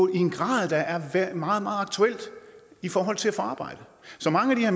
en grad der er meget meget aktuel i forhold til at få arbejde så mange af